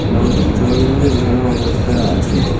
নদীর জলগুলি ঘোলা অবস্থায় আছে।